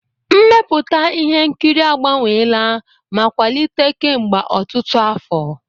Mmepụta ihe nkiri agbanweela ma kwalite kemgbe ọtụtụ afọ.